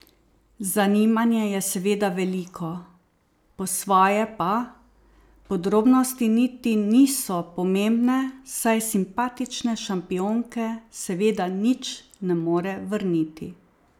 Zanimanje je seveda veliko, po svoje pa podrobnosti niti niso pomembne, saj simpatične šampionke seveda nič ne more vrniti.